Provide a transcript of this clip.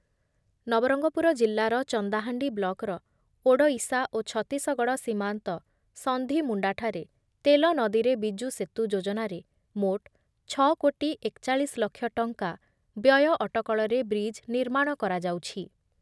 ନବରଙ୍ଗପୁର ଜିଲ୍ଲାର ଚନ୍ଦାହାଣ୍ଡି ବ୍ଳକ‌ର ଓଡ଼ଇଶା ଓ ଛତିଶଗଡ଼ ସୀମାନ୍ତ ସନ୍ଧିମୁଣ୍ଡାଠାରେ ତେଲନଦୀରେ ବିଜୁ ସେତୁ ଯୋଜନାରେ ମୋଟ୍ ଛଅ କୋଟି ଏକ ଚାଳିଶ ଲକ୍ଷ ଟଙ୍କା ବ୍ୟୟ ଅଟକଳରେ ବ୍ରିଜ୍ ନିର୍ମାଣ କରାଯାଉଛି ।